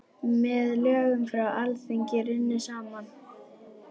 Með lögum frá Alþingi runnu saman